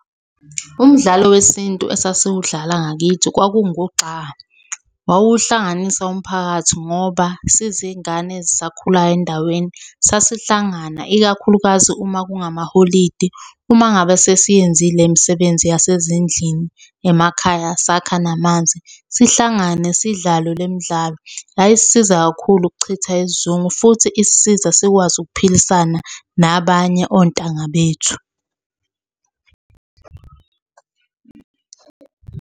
Umdlalo wesintu esasiwudlala ngakithi kwakungugxa. Wawuhlanganisa umphakathi ngoba sizingane ezisakhulayo endaweni sasihlangana ikakhulukazi uma kungamaholidi. Uma ngabe sesiyenzile imisebenzi yasezindlini emakhaya, sakha namanzi, sihlangane sidlale le midlalo. Yayisisiza kakhulu ukuchitha isizungu futhi isisiza sikwazi ukuphilisana nabanye ontanga bethu.